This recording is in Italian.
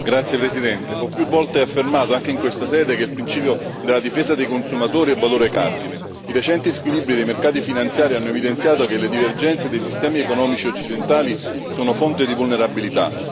Signor Presidente, onorevoli colleghi, ho più volte affermato, anche in questa sede, che il principio della difesa dei consumatori è un valore cardine. I recenti squilibri dei mercati finanziari hanno evidenziato che le divergenze dei sistemi economici occidentali sono fonte di vulnerabilità.